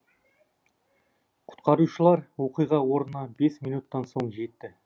құтқарушылар оқиға орнына бес минуттан соң жетті